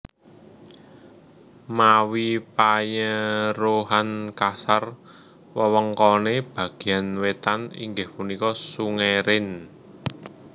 Mawi panyeruhan kasar wewengkoné bagéyan wétan inggih punika Sungai Rhein